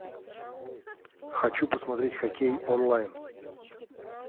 хочу посмотреть хоккей онлайн